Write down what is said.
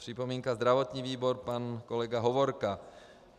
Připomínka zdravotního výboru - pan kolega Hovorka.